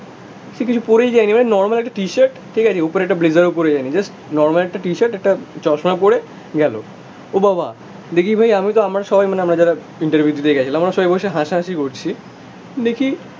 সে কিছু পরেই যায়নি ভাই নর্মাল একটা টি শার্ট, ঠিক আছে, ওপরে একটা ব্লেজারও পরে যায়নি, জাস্ট নরমাল একটা টি শার্ট একটা চশমা পরে গেলো ও বাবা, দেখি ভাই আমি তো আমার সবাই মানে আমরা যারা ইন্টারভিউ দিতে গেছিলাম, আমরা সবাই বসে হাসাহাসি করছি দেখি